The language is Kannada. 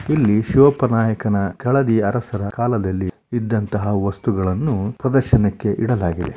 ಇಲ್ಲಿ ಶಿವಪ್ಪನಾಯಕನ ಕೆಳದಿ ಅರಸರ ಕಾಲದಲ್ಲಿ ಇದ್ದಂಥಹ ವಸ್ತುಗಳನ್ನು ಪ್ರದರ್ಶನಕ್ಕೆ ಇಡಲಾಗಿದೆ.